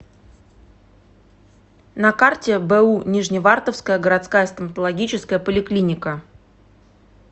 на карте бу нижневартовская городская стоматологическая поликлиника